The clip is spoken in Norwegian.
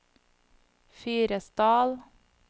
Fyresdal